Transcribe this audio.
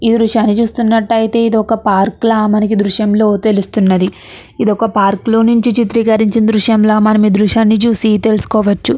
ఈ దృశ్యాన్ని చూసినట్టు అయితే ఇది ఒక పార్క్ లో మనకి దృశ్యంలో తెలుస్తుంది. ఇది ఒక పార్క్ లో నుంచి చిత్రీకరించి దృశ్యంలా మరి మీ దృశ్యాన్ని చూసి తెలుసుకోవచ్చు.